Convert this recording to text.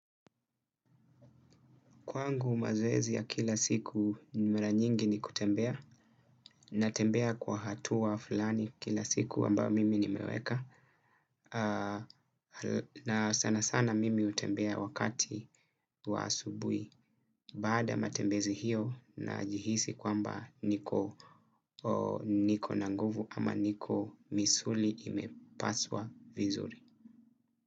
Kwangu mazoezi ya kila siku ni mara nyingi ni kutembea na tembea kwa hatua fulani kila siku ambayo mimi nimeweka. Na sana sana mimi utembea wakati wa asubui baada matembezi hiyo najihisi kwamba niko na nguvu ama niko misuli imepaswa vizuri.